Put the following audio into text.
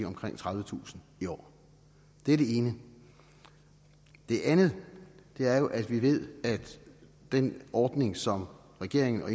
omkring tredivetusind i år det er det ene det andet er jo at vi ved at den ordning som regeringen og